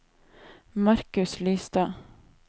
Marcus Lystad